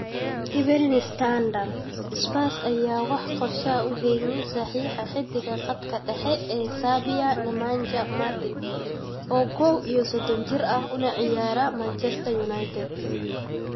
(Evening Standard) Spurs ayaan wax qorshe ah u haynin saxiixa xiddiga khadka dhexe ee Serbia Nemanja Matic, oo koow iyo sodon jir ah, una ciyaara Manchester United.